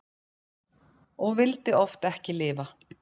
Og vildi oft ekki lifa.